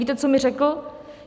Víte, co mi řekl?